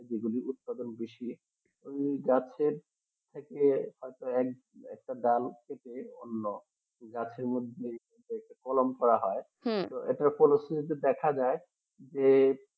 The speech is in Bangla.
এইজন্য উৎপাদন বেশি এই গাছের থেকে হয় তো একটা ডাল কেটে অন্য গাছের মধ্যে একটা কলম করা হয় এটার উপলক্ষে দেখা যায় যে